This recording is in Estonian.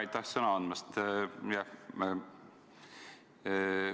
Aitäh sõna andmast!